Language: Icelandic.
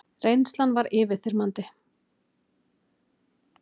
Reynslan var yfirþyrmandi.